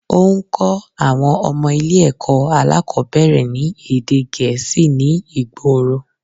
Óún kó àwon ọmọ Ilé èkó alákòbéèrè ní èdè Gèésì ní ìgboro